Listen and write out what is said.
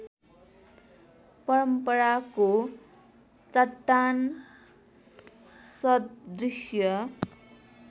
परम्पराको चट्टान सदृश्य